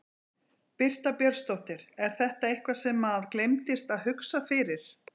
Birta Björnsdóttir: Er þetta eitthvað sem að gleymdist að hugsa fyrir?